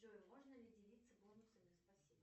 джой можно ли делиться бонусами спасибо